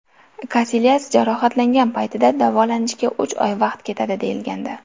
Kasilyas jarohatlangan paytida davolanishga uch oy vaqt ketadi deyilgandi.